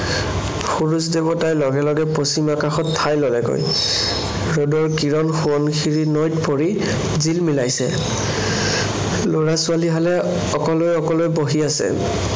সূৰুয দেৱতাই লগে লগে পশ্চিম আকাশত ঠাই ললেগৈ। ৰদৰ কিৰণ সোৱণশিৰী নৈত পৰি জিলমিলাইছে। লৰা-ছোৱালীহালে অকলে অকলে বহি আছে।